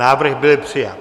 Návrh byl přijat.